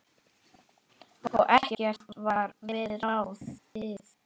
Og ekkert varð við ráðið.